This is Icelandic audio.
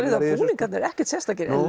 búningarnir ekkert sérstakir en